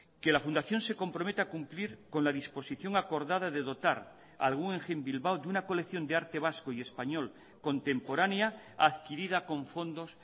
que la fundación se comprometa a cumplir con la disposición acordada de dotar al guggenheim bilbao de una colección de arte vasco y español contemporánea adquirida con fondos